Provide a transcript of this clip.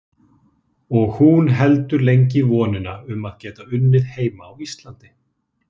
Og hún heldur lengi í vonina um að geta unnið heima á Íslandi.